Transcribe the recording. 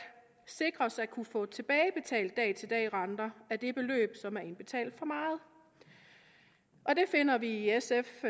sikres at kunne få tilbagebetalt dag til dag renter af det beløb som man har indbetalt for meget det finder vi i sf